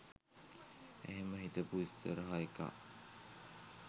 එහෙම හිතපු ඉස්සරහ එකා